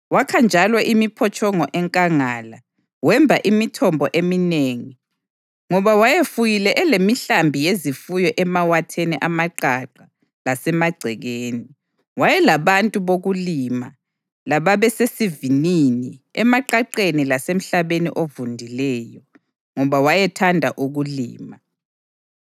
Wakha njalo imiphotshongo enkangala, wemba imithombo eminengi, ngoba wayefuyile elemihlambi yezifuyo emawatheni amaqaqa lasemagcekeni. Wayelabantu bokulima lababesezivinini emaqaqeni lasemhlabeni ovundileyo, ngoba wayethanda ukulima.